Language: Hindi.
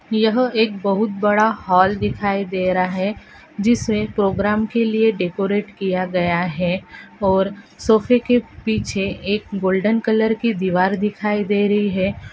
यहां एक बहुत बड़ा हॉल दिखाई दे रहा है जिसमें प्रोग्राम के लिए डेकोरेट किया गया है और सोफे के पीछे एक गोल्डन कलर दीवार दिखाई दे रही है।